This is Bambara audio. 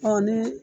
ni